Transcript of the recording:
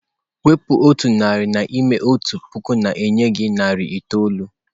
Wepụ otu narị n'ime otu puku na-enye gị narị itoolu.